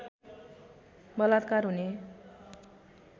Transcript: बलात्कार हुने